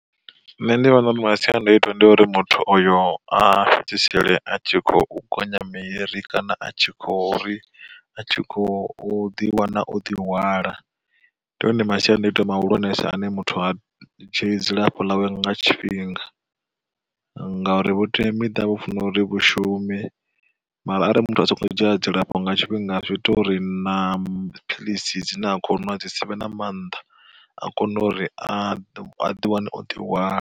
Nṋe ndi vhona uri masiandaitwa ndi uri muthu oyo a fhedzisele a tshi khou gonya miri, kana a tshi kho ri a tshi khou ḓiwana o ḓihwala ndi one masiandoitwa muhulwanesa ane muthu a dzhi dzilafho ḽawe nga tshifhinga. Ngauri vhuteamiṱa vhu funa uri vhashume mara arali muthu a songo dzhia dzilafho nga tshifhinga zwi ita uri na philisi dzine a khou nwa dzi sivhe na maanḓa, a kona uri a ḓi wane o ḓihwala.